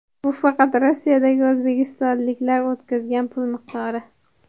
Bu faqat Rossiyadagi o‘zbekistonliklar o‘tkazgan pul miqdori.